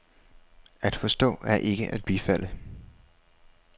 At forstå er ikke at bifalde.